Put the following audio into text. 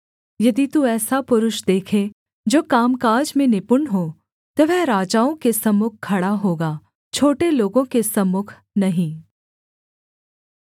यदि तू ऐसा पुरुष देखे जो कामकाज में निपुण हो तो वह राजाओं के सम्मुख खड़ा होगा छोटे लोगों के सम्मुख नहीं